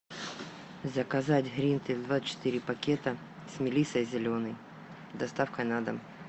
заказать гринфилд двадцать четыре пакета с мелиссой зеленой с доставкой на дом